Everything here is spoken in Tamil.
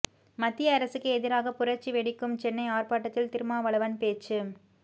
மத்திய அரசுக்கு எதிராக புரட்சி வெடிக்கும் சென்னை ஆர்ப்பாட்டத்தில் திருமாவளவன் பேச்சு